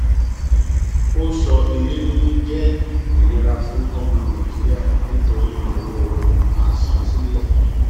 ó sọ ilé níní jẹ ìnira fún ọmọ nàìjíríà nítorí ìnáwó asansílẹ